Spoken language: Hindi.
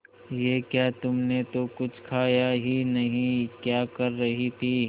ये क्या तुमने तो कुछ खाया ही नहीं क्या कर रही थी